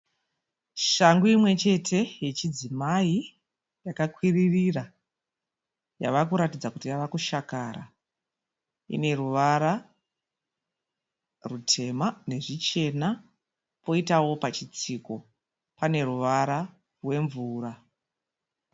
Shangu imwe chete yechidzimai yakakwiririra. Yava kuratidza kuti yava kushakara. Ine ruvara rutema nezvichena. Poitawo pachitsiko pane ruvara rwemvura.